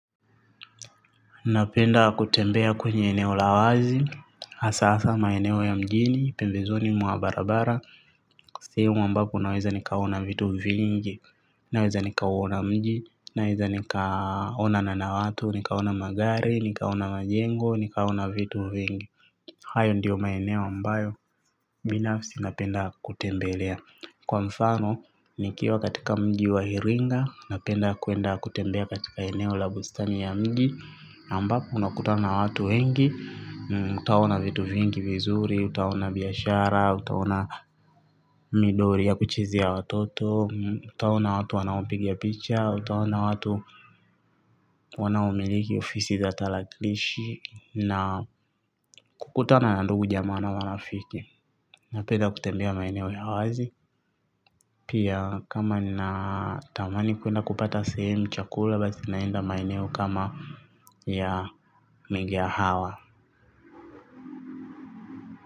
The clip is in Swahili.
Napenda kutembea kwenye eneo la wazi, hasa maeneo ya mjini, pembezoni mwa barabara. Sehemu ambapo naweza nikaona vitu vingi, naweza nikaona mji, naweza nikaona na watu, nikaona magari, nikaona majengo, nikaona vitu vingi. Hayo ndiyo maeneo ambayo, binafsi napenda kutembelea kwa mfano, nikiwa katika mji wa hiringa, napenda kuenda kutembea katika eneo la bustani ya mji ambapo unakutana na watu wengi utaona vitu vingi vizuri utaona biashara utaona midori ya kuchizi ya watoto utaona watu wanaopiga picha utaona watu wanaomiliki ofisi za tarakilishi na kukutana na ndugu jamaa na marafiki napenda kutembea maeneo ya wazi pia kama nina tamani kuenda kupata sehemu chakula basi naenda maeneo kama ya mega hawa.